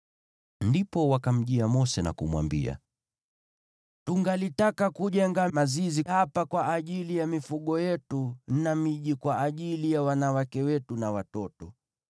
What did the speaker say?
Ndipo wakamjia Mose na kumwambia, “Tungalitaka kujenga mazizi hapa kwa ajili ya mifugo yetu na miji kwa ajili ya wanawake wetu na watoto.